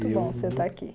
Muito bom você estar aqui.